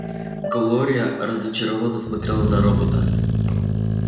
глория разочарованно смотрела на робота